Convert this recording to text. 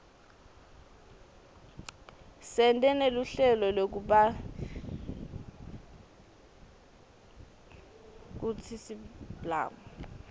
sente neluhlelo lekublakutsi siblami